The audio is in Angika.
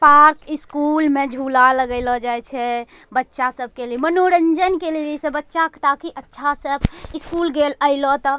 पार्क स्कूल मे झूला लगेलो जाय छै बच्चा सब के लिए मनोरंजन के लिए जे से बच्चा के ताकि अच्छा से स्कूल गेल एइलो तब --